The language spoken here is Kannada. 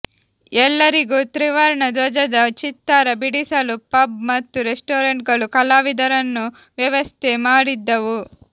ಎಲ್ಲರಿಗೂ ತ್ರಿವರ್ಣ ಧ್ವಜದ ಚಿತ್ತಾರ ಬಿಡಿಸಲು ಪಬ್ ಮತ್ತು ರೆಸ್ಟೋರೆಂಟ್ಗಳು ಕಲಾವಿದರನ್ನು ವ್ಯವಸ್ಥೆ ಮಾಡಿದ್ದವು